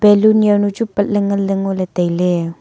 balloon yao nu chu patley nganley ngoley tailey.